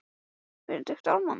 Sanngjörn úrslitin í kvöld?